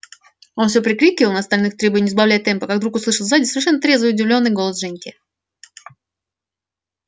он всё прикрикивал на остальных требуя не сбавлять темпа как вдруг услышал сзади совершенно трезвый и удивлённый голос женьки